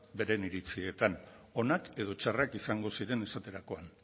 beren iritzietan onak edo txarrak izango ziren esaterakoan